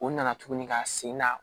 O nana tuguni ka sen na